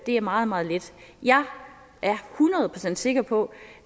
er meget meget lidt jeg er hundrede procent sikker på